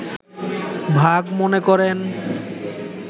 ভাগ মনে করেন